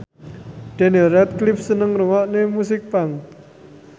Daniel Radcliffe seneng ngrungokne musik punk